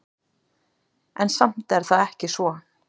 En samt er það ekki svo.